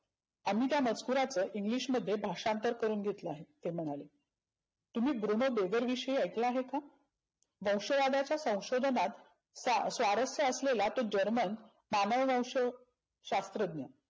आम्ही त्या मचकुरातनं English मध्ये भाषांतर करुण घेतले आहे. ते म्हणालेम्हणाले. तुम्ही गृह विषयी ऐकले आहे का? वंशवादाच्या संशोधनात सा स्वार्थ असलेला तो जर्मन कालभाष्य शास्रज्ञ.